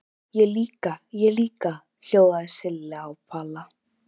Ég líka, ég líka!!! hljóðuðu Silla og Palla.